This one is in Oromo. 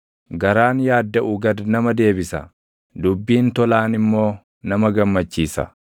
Garaan yaaddaʼu gad nama deebisa; dubbiin tolaan immoo nama gammachiisa.